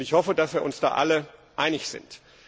Ich hoffe, dass wir uns da alle einig sind.